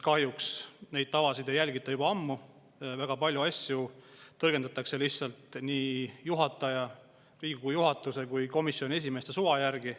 Kahjuks neid tavasid ei järgita juba ammu, väga palju asju tõlgendatakse lihtsalt nii juhataja, Riigikogu juhatuse kui ka komisjonide esimeeste suva järgi.